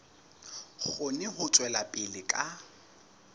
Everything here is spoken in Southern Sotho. kgone ho tswela pele ka